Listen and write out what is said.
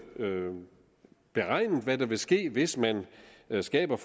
beregnet hvad der vil ske hvis man skaber